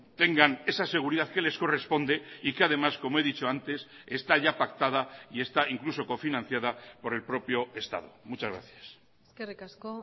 tengan esa seguridad que les corresponde y que además como he dicho antes está ya pactada y está incluso cofinanciada por el propio estado muchas gracias eskerrik asko